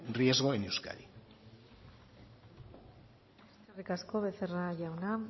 riesgo en euskadi eskerrik asko becerra jauna